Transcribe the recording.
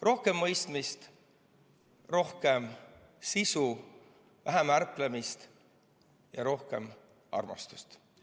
Rohkem mõistmist, rohkem sisu, vähem ärplemist ja rohkem armastust!